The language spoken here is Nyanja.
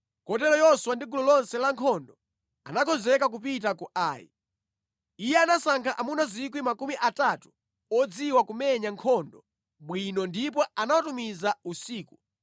Kotero Yoswa ndi gulu lonse la nkhondo anakonzeka kupita ku Ai. Iye anasankha amuna 30,000 odziwa kumenya nkhondo bwino ndipo anawatumiza usiku